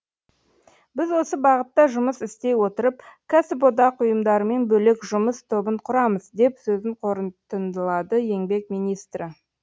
біз осы бағытта жұмыс істей отырып кәсіподақ ұйымдарымен бөлек жұмыс тобын құрамыз деп сөзін қорытындылады еңбек министрі